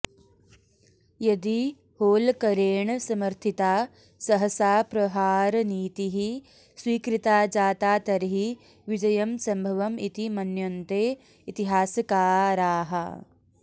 यदि होल्करेण समर्थिता सहसाप्रहारनीतिः स्वीकृता जाता तर्हि विजयम् सम्भवम् इति मन्यन्ते इतिहासकाराः